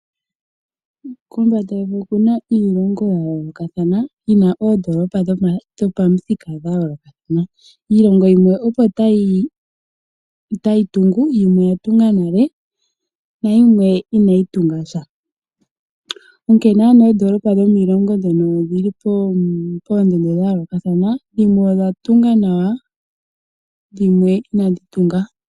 Kombanda yevi okuna iilonga yayoolokathana yina oondoolopa dhopamuthika dhayoolokathana. Iilongo yimwe opo tayi tungu, yimwe oya tunga nale, nayimwe inayi tunga sha, onkene ano oondoolopa dhomiilongo mbyono odhili poondondo dhayoolokathana, dhimwe odha tungwa nawa, dhimwe inadhi tunga.